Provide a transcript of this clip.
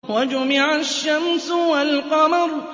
وَجُمِعَ الشَّمْسُ وَالْقَمَرُ